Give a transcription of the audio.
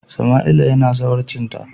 Samaila yana zawarcinta.